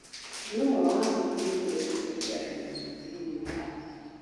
Nĩ ũmwe wa mĩrimũ ĩrĩa ĩthũkagia andũ mũno thĩinĩ wa thĩ.